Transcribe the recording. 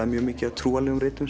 er mjög mikið af trúarritum